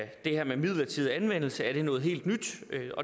det her med en midlertidig anvendelse og om det er noget helt nyt